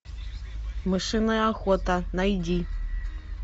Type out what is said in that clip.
мышиная охота найди